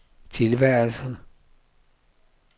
tilværelse